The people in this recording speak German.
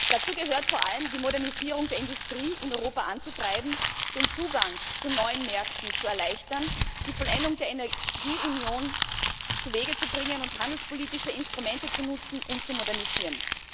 Dazu gehört vor allem, die Modernisierung der Industrie in Europa anzutreiben, den Zugang zu neuen Märkten zu erleichtern, die Vollendung der Energieunion zuwege zu bringen und handelspolitische Instrumente zu nutzen und zu modernisieren.